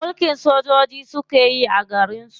Mulkin sojoji suke yi a garin su.